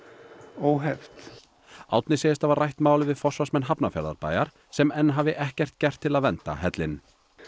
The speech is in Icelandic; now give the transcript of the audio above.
óheft Árni segist hafa rætt málið við forsvarsmenn Hafnarfjarðarbæjar sem enn hafi ekkert gert til að vernda hellinn